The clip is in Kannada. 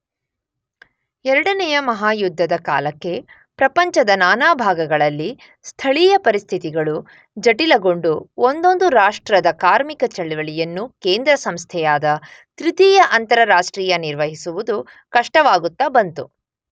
ಎರಡನೆಯ ಮಹಾಯುದ್ಧದ ಕಾಲಕ್ಕೆ ಪ್ರಪಂಚದ ನಾನಾ ಭಾಗಗಳಲ್ಲಿ ಸ್ಥಳೀಯ ಪರಿಸ್ಥಿತಿಗಳು ಜಟಿಲಗೊಂಡು, ಒಂದೊಂದು ರಾಷ್ಟ್ರದ ಕಾರ್ಮಿಕ ಚಳವಳಿಯನ್ನೂ ಕೇಂದ್ರಸಂಸ್ಥೆಯಾದ ತೃತೀಯ ಅಂತಾರಾಷ್ಟ್ರೀಯ ನಿರ್ವಹಿಸುವುದು ಕಷ್ಟವಾಗುತ್ತ ಬಂತು.